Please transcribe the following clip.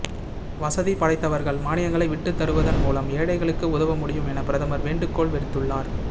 வசதி படைத்தவர்கள் மானியங்களை விட்டுதருவதன் மூலம் ஏழைகளுக்கு உதவ முடியும் என பிரதமர் வேண்டுகோள் விடுத்துள்ளார்